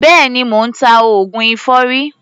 Béèni, mò ń ta oògùn èfọ́rí.